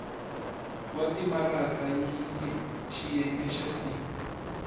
wa timaraka xiyenge xa c